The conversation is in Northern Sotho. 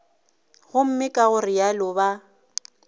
gomme ka go realo ba